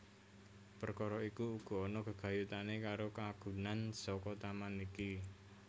Perkara iku uga ana gegayutané karo kagunan saka taman iki